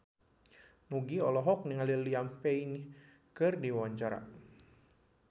Nugie olohok ningali Liam Payne keur diwawancara